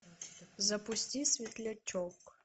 запусти светлячок